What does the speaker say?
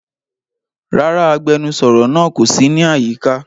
Rara, agbẹnusọro naa ko si ni ayika.